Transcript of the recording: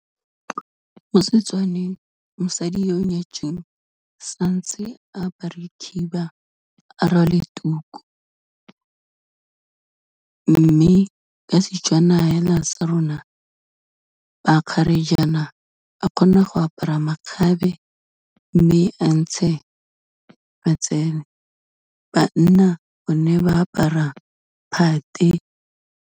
Mo Setswaneng, mosadi yo o nyetsweng sa ntse a apare khiba, a rwale tuku, mme ka Setswana fela sa rona, bakgarejaana a kgona go apara makgabe, mme a ntshe matsele. Banna bone ba apara phate.